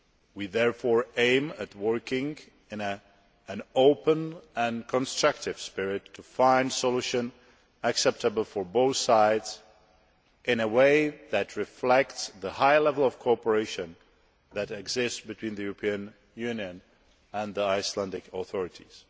We therefore aim to work in an open and constructive spirit to find solutions acceptable to both sides, in a way that reflects the high level of cooperation between the European Union and the Icelandic authorities.